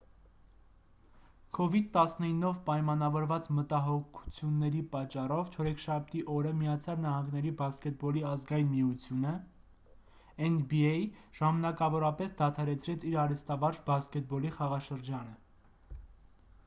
covid-19-ով պայմանավորված մտահոգությունների պատճառով չորեքշաբթի օրը միացյալ նահանգների բասկետբոլի ազգային միությունը nba ժամանակավորապես դադարեցրեց իր արհեստավարժ բասկետբոլի խաղաշրջանը: